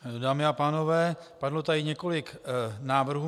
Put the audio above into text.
Dámy a pánové, padlo tady několik návrhů.